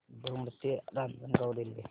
दौंड ते रांजणगाव रेल्वे